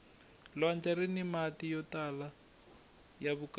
lwandle rini mati yo tala ya vukarhi